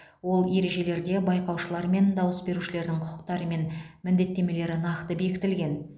ол ережелерде байқаушылар мен дауыс берушілердің құқықтары мен міндеттемелері нақты бекітілген